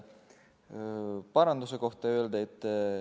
Aitäh!